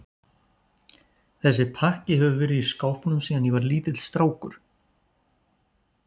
Þessi pakki hefur verið í skápnum síðan ég var lítill strákur.